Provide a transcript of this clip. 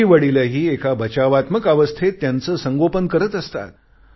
आईवडीलही एका बचावात्मक अवस्थेत त्यांचे संगोपन करत असतात